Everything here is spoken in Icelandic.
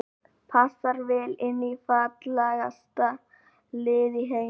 Passar vel inn í fallegasta lið í heimi.